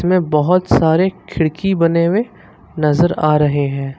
इसमें बहोत सारे खिड़की बने हुए नजर आ रहे हैं।